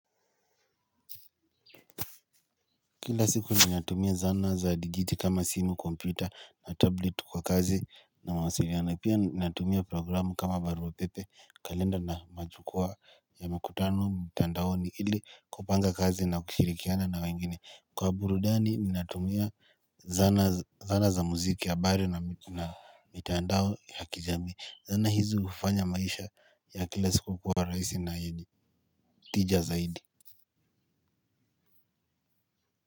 Kila siku ninatumia zana za digiti kama simu, kompyuta na tablet kwa kazi na mawasiliano, pia ninatumia programu kama barua pepe, kalenda na majukwaa ya makutano mtandaoni ili kupanga kazi na kushirikiana na wengine. Kwa burudani ninatumia zana zana za muziki, habari na mitandao ya kijamii. Zana hizo hufanya maisha ya kila siku kuwa rahisi na tija zaidi.